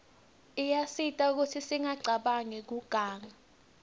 iyasita kutsi singacabanq kiuganga